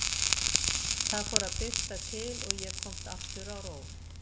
Það fór að birta til og ég komst aftur á ról.